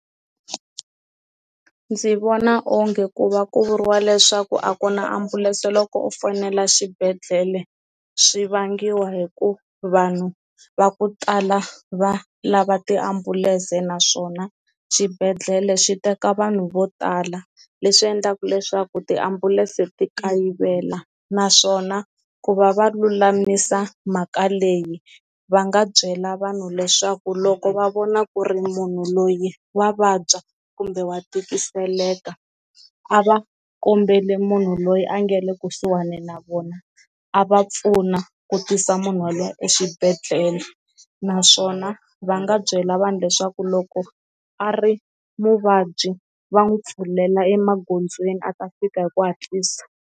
Ndzi vona onge ku va ku vuriwa leswaku a ku na ambulense loko u fonela xibedhlele swi vangiwa hi ku vanhu va ku tala va lava tiambulense naswona xibedhlele xi teka vanhu vo tala leswi endlaka leswaku tiambulense ti kayivela, naswona ku va va lulamisa mhaka leyi va nga byela vanhu leswaku loko va vona ku ri munhu loyi wa vabya kumbe wa tikiseleka a va kombeli munhu loyi a nga le kusuhani na vona a va pfuna ku tisa munhu waloye exibedhlele, naswona va nga byela vanhu leswaku loko a ri muvabyi va n'wi pfulela emagondzweni a ta fika hi ku hatlisa.